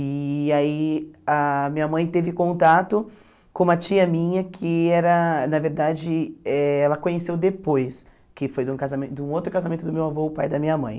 E aí a minha mãe teve contato com uma tia minha que era, na verdade, eh ela conheceu depois, que foi de um casamento de um outro casamento do meu avô, o pai da minha mãe.